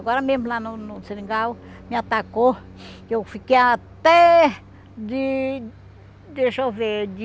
Agora mesmo lá no no seringal, me atacou, que eu fiquei até de... deixa eu ver, de...